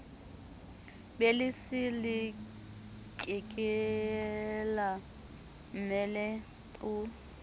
be le selelekela mmele o